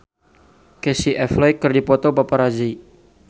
Casey Affleck dipoto ku paparazi